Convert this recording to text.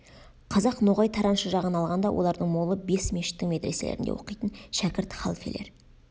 қазақ ноғай тараншы жағын алғанда олардың молы бес мешіттің медреселерінде оқитын шәкірт халфелер